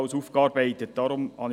Sie haben es vorhin gehört.